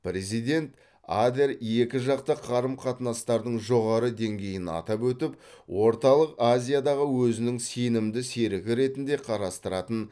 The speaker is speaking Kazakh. президент адер екіжақты қарым қатынастардың жоғары деңгейін атап өтіп орталық азиядағы өзінің сенімді серігі ретінде қарастыратын